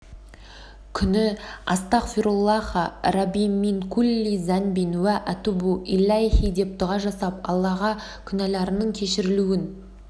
күні астағфируллаха рабби мин кулли занбин уа атубу иляйһи деп дұға жасап аллаға күнәларының кешірілуін